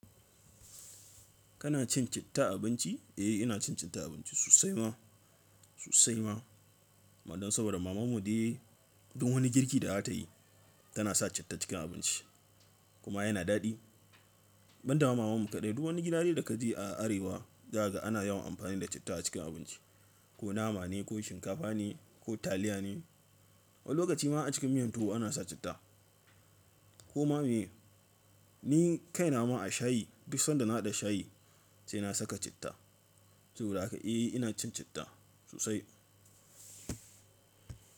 Kana cin citta a abinci? Eh, ina cin citta a abinci sosai ma sosai ma. Wanan saboda mamanmu dai duk wani girki da za ta yi, tana sa citta cikin abinci kuma yana daɗi. Banda ma mamanmu kaɗai, duk wani gida dai da ka je a Arewa, zaka ga ana yawan amfani da citta a cikin abinci. Ko nama ne ko shinkafa ne ko taliya ne. Wani lokaci ma a cikin miyan tuwo ana sa citta. Ko ma ne, ni kaina ma a shayi, duk sanda na hada shayi sai na saka citta. Saboda haka, eh ina cin citta sosai.